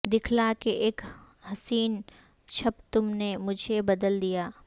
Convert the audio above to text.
دکھلا کہ اک حسین چھب تم نے مجھے بدل دیا